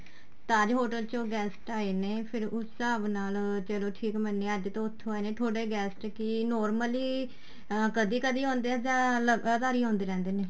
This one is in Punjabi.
Taj hotel ਚੋ guest ਆਏ ਨੇ ਫਿਰ ਉਸ ਹਿਸਾਬ ਨਾਲ ਚਲੋਂ ਠੀਕ ਮੰਨਿਆਂ ਅੱਜ ਤਾਂ ਉੱਥੋ ਆਏ ਨੇ ਤੁਹਾਡੇ guest ਕਿ normally ਅਹ ਕਦੀਂ ਕਦੀਂ ਆਉਦੇ ਹੈ ਜਾਂ ਲਗਾਤਾਰ ਈ ਆਉਦੇ ਰਹਿੰਦੇ ਨੇ